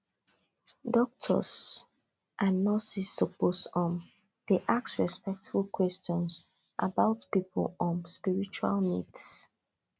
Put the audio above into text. doctors and nurses suppose um dey ask respectful questions about people um spiritual needs